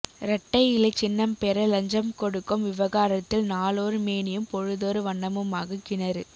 இரட்டை இலை சின்னம் பெற லஞ்சம் கொடுக்கும் விவகாரத்தில் நாளொரு மேனியும் பொழுதொரு வண்ணமுமாக கிணறு